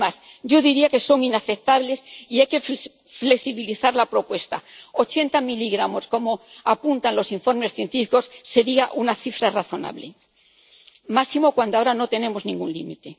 Es más, yo diría que son inaceptables y hay que flexibilizar la propuesta ochenta miligramos, como apuntan los informes científicos, sería una cifra razonable, máxime cuando ahora no tenemos ningún límite.